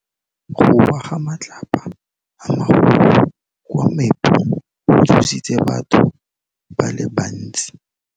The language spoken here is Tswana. Go wa ga matlapa a magolo ko moepong go tshositse batho ba le bantsi.